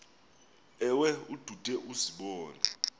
ewe ude uzibone